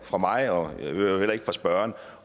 fra mig og øvrigt heller ikke fra spørgeren